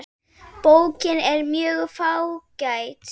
Bókin er mjög fágæt.